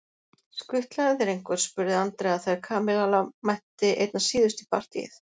Skutlaði þér einhver? spurði Andrea þegar Kamilla mætti einna síðust í partíið.